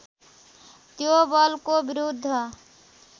त्यो बलको विरुद्ध